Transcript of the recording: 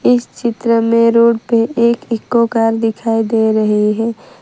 इस चित्र में रोड पे एक इको कार दिखाई दे रही है।